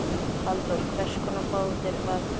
Halldór hvers konar bátur var þetta?